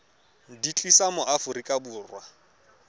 di tlisa mo aforika borwa